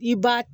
I b'a